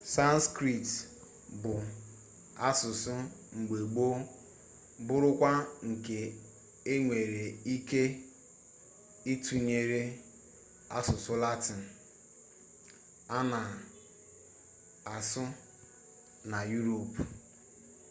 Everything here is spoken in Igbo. sanskrit bụ asụsụ mgbe gboo bụrụkwa nke enwere ike ịtụnyere asụsụ latịn a na asụ na yuropu